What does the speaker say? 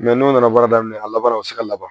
n'o nana baara daminɛ a laban na u bɛ se ka laban